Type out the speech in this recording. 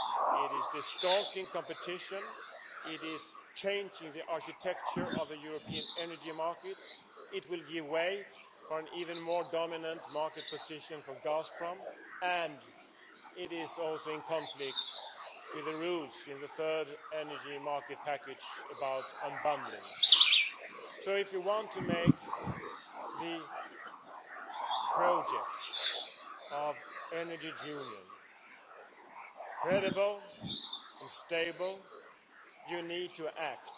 It is distorting competition and it is changing the architecture of the European energy markets. It will be a means for Gazprom to assume an even more dominant market position and it is also in conflict with the rules in the third Energy Market Package about unbundling. So, if you want to make the project of Energy Union credible and stable, you need to act.